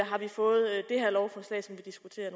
har vi fået det her lovforslag som vi diskuterer